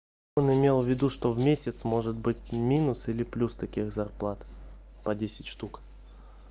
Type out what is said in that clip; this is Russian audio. он имел в виду что в месяц может быть и минус или плюс таких зарплат по десять штук